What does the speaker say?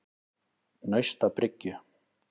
Naustabryggju